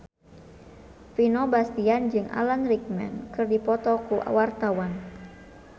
Vino Bastian jeung Alan Rickman keur dipoto ku wartawan